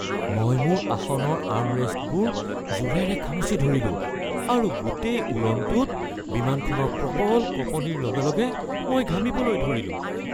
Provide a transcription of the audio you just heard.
মই মোৰ আসনৰ আৰ্মৰেষ্টবোৰ জোৰেৰে খামুচি ধৰিলোঁ আৰু গোটেই উৰণটোত বিমানখনৰ প্ৰবল কঁপনিৰ লগে লগে মই ঘামিবলৈ ধৰিলোঁ